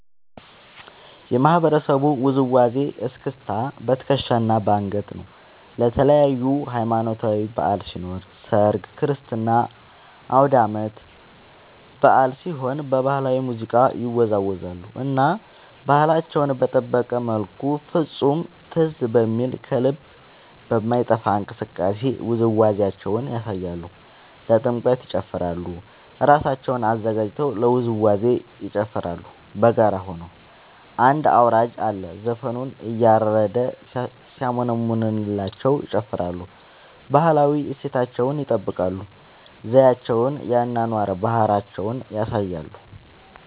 የማህበረሰቡ ውዝዋዜ እስክስታ በትከሻ እና በአንገት ነው። ለተለያዪ ሀማኖታዊ በዐል ሲኖር ሰርግ ክርስትና አውዳመት በአል ሲሆን በባህላዊ ሙዚቃ ይወዛወዛሉ እና ባህላቸውን በጠበቀ መልኩ ፍፁም ትዝ በሚል ከልብ በማይጠፍ እንቅስቃሴ ውዝዋዜያቸውን ያሳያሉ። ለጥምቀት ይጨፉራሉ እራሳቸውን አዘጋጅተው ለውዝዋዜ ይጨፋራሉ በጋራ ሆነው አንድ አውራጅ አለ ዘፈኑን እያረደ ሲያሞነምንላቸው ይጨፍራሉ። ባህላዊ እሴታቸውን ይጠብቃል ዘዪቸውን የአኗኗር ባህላቸውን ያሳያሉ።